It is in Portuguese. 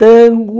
Tango.